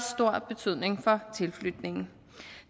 stor betydning for tilflytningen